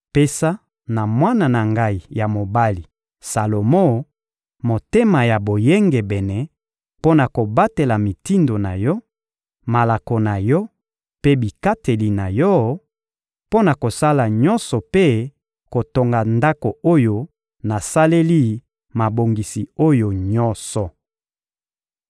Pesa na mwana na ngai ya mobali, Salomo, motema ya boyengebene mpo na kobatela mitindo na Yo, malako na Yo mpe bikateli na Yo; mpo na kosala nyonso mpe kotonga Ndako oyo nasaleli mabongisi oyo nyonso.»